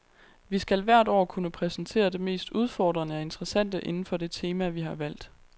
Vi skal hvert år kunne præsentere det mest udfordrende og interessante inden for det tema, vi har valgt.